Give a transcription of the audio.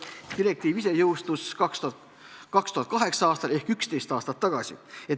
Asjaomane direktiiv jõustus 2008. aastal ehk 11 aastat tagasi.